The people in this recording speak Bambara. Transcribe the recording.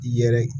I yɛrɛ